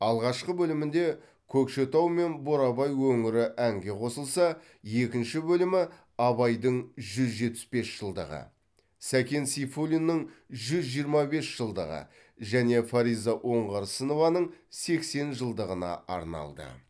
алғашқы бөлімінде көкшетау мен бурабай өңірі әңге қосылса екінші бөлімі абайдың жүз жетпіс бес жылдығы сәкен сейфуллиннің жүз жиырма бес жылдығы және фариза оңғарсынованың сексен жылдығына арналды